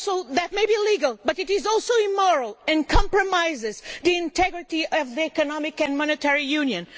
That may be legal, but it is also immoral and compromises the integrity of the Economic and Monetary Union.